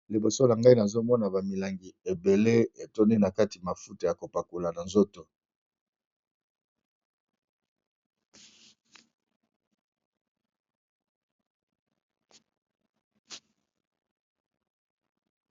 liboso na ngai nazomona bamilangi ebele etoni na kati mafuta ya kopakula na nzoto